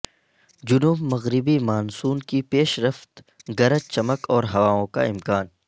جنوب مغربی مانسون کی پیشرفت گرج چمک اور ہواوں کا امکان